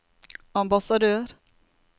ambassadør